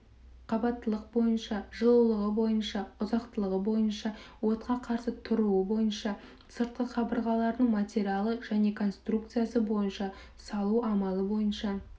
қабаттылық бойынша жылулығы бойынша ұзақтылығы бойынша отқа қарсы тұруы бойынша сыртқы қабырғалардың материалы және конструкциясы бойынша салу амалы бойынша